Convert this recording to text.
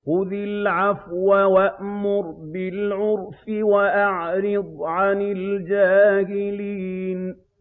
خُذِ الْعَفْوَ وَأْمُرْ بِالْعُرْفِ وَأَعْرِضْ عَنِ الْجَاهِلِينَ